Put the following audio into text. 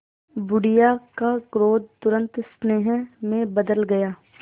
बुढ़िया का क्रोध तुरंत स्नेह में बदल गया